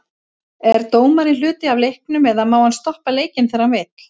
Er dómarinn hluti af leiknum eða má hann stoppa leikinn þegar hann vill?